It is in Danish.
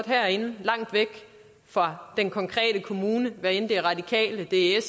herinde langt væk fra den konkrete kommune hvad enten det er radikale det er